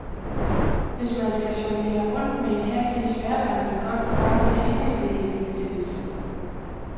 Hvis man skal jonglere rundt med en halv snes værker, er man godt på vej til seneskedehindebetændelsen.